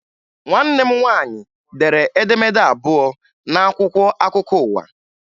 Nwanne m nwaanyị dere edemede abụọ n'akwụkwọ akụkwọ ụwa